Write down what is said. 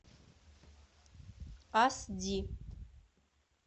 ас ди